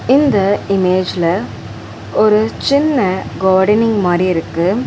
இந்த இமேஜ்ல ஒரு சின்ன காடனிங் மாறி இருக்கு.